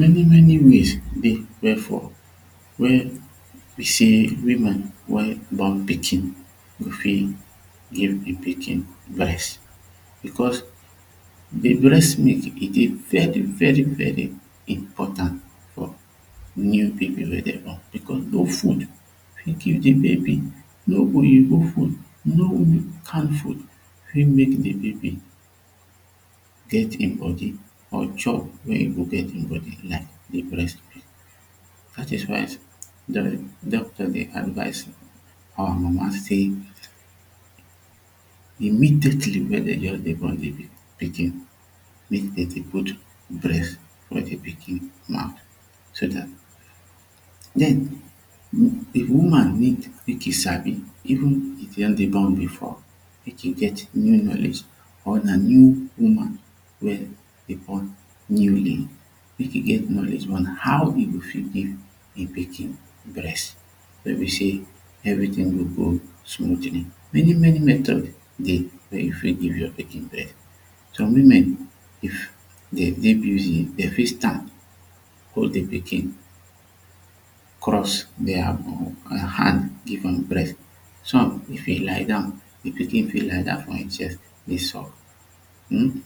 Many many ways wey for wey be say women wey born pikin go fit give de pikin breast because de breast milk e dey very very very important for new baby wey dey born because no food fit giv de baby no oyibo food no can food fit make de baby get him body or chop wey e go get him body like breast milk dat is why doctor dey advice our mama say immediately wey dey just dey born de pikin make dem put breast for de pikin mouth so dat den if woman need make e Sabi even if e don dey do am before make him get new knowledge or na new woman wey dey born newly mek e get knowledge on how e go fit give de pikin breast wey be say everytin go go smootly. Many many metods dey wey you fit give your pikin breast some women if dem dey busy dem fit Stand hold the pikin cross dia um hand give am breast some if e lie down the pikin fit like down for him chest dey suck um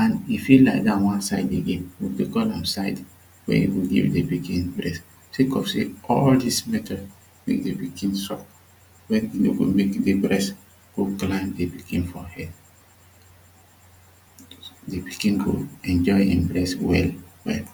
and e fit lie down one side again de call am side wey you go give de pikin breast say cause say all dis method mek baby begin suck wey go make de breast go grind de pikin for head the pikin go enjoy him breast well well